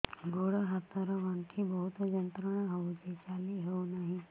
ଗୋଡ଼ ହାତ ର ଗଣ୍ଠି ବହୁତ ଯନ୍ତ୍ରଣା ହଉଛି ଚାଲି ହଉନାହିଁ